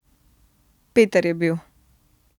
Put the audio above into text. Peter je bil.